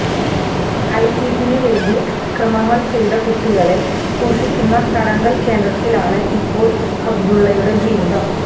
ഐസിസിനു വേണ്ടി അതിക്രമങ്ങള് ചെയ്ത കുട്ടികളെ സൂക്ഷിയ്ക്കുന്ന തടങ്കല് കേന്ദ്രത്തിലാണ് ഇപ്പോള് അബ്ദുല്ലയുടെ ജീവിതം